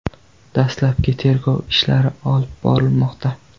Dastlabki tergov ishlari olib borilmoqda.